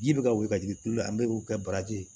Ji bɛ ka wuli ka jigin tulu la an bɛ kɛ baraji ye